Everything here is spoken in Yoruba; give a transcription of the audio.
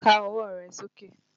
Ká ọwọ́ rẹ sókè!